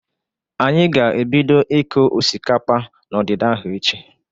Anyị ga-ebido ịkụ osikapa n'ọdịda ahụ echi.